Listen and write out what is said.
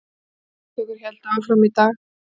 Skýrslutökur héldu áfram í dag